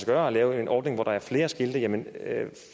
gøre at lave en ordning hvor der er flere skilte jamen